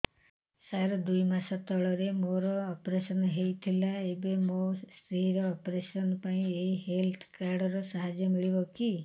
ସାର ଦୁଇ ମାସ ତଳରେ ମୋର ଅପେରସନ ହୈ ଥିଲା ଏବେ ମୋ ସ୍ତ୍ରୀ ର ଅପେରସନ ପାଇଁ ଏହି ହେଲ୍ଥ କାର୍ଡ ର ସାହାଯ୍ୟ ମିଳିବ କି